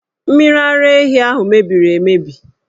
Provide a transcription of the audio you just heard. Mmiri ara ehi ahụ mebiri emebi!